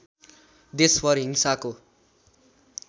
देशभर हिंसाको